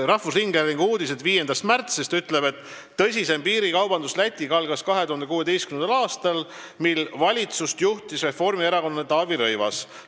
Rahvusringhäälingu uudis 5. märtsist ütleb, et tõsisem piirikaubandus Lätiga algas 2016. aastal, kui valitsust juhtis reformierakondlane Taavi Rõivas.